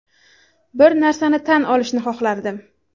Bir narsani tan olishni xohlardim.